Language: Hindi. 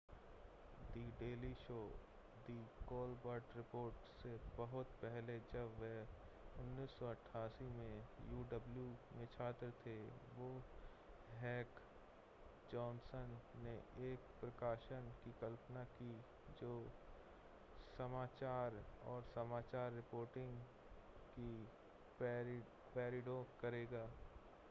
द डेली शो और द कोलबर्ट रिपोर्ट से बहुत पहले जब वे 1988 में uw में छात्र थे तो हेक और जॉनसन ने एक प्रकाशन की कल्पना की जो समाचार और समाचार रिपोर्टिंग की पैरोडी करेगा -